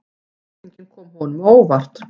Spurningin kom honum á óvart.